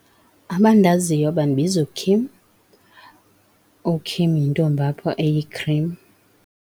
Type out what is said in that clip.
Abandaziyo bandibiza uKim, uKim yintombi apha eyikhrim.